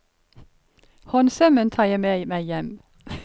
Håndsømmen tar jeg med meg hjem.